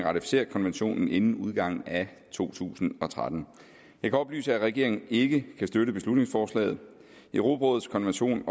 ratificere konventionen inden udgangen af to tusind og tretten jeg kan oplyse at regeringen ikke kan støtte beslutningsforslaget europarådets konvention